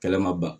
Kɛlɛ ma ban